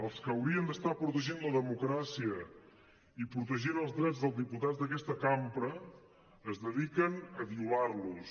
els que haurien d’estar protegint la democràcia i protegint els drets dels diputats d’aquesta cambra es dediquen a violar los